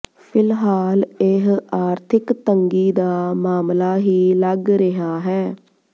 ਫਿਲਹਾਲ ਇਹ ਆਰਥਿਕ ਤੰਗੀ ਦਾ ਮਾਮਲਾ ਹੀ ਲੱਗ ਰਿਹਾ ਹੈ